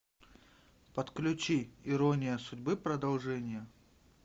подключи ирония судьбы продолжение